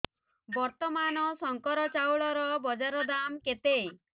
ବର୍ତ୍ତମାନ ଶଙ୍କର ଚାଉଳର ବଜାର ଦାମ୍ କେତେ